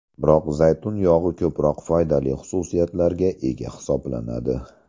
Biroq zaytun yog‘i ko‘proq foydali xususiyatlarga ega hisoblanadi.